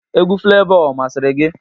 Egwu Flevọ ọ masịrị gị?